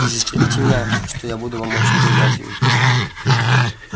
и застрелите меня что я буду вам очень признателен